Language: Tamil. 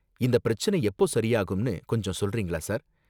இந்த பிரச்சனை எப்போ சரியாகும்னு கொஞ்சம் சொல்றீங்களா சார்?